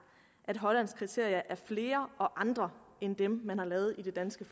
at de hollandske kriterier er flere og andre end dem man har lavet i det danske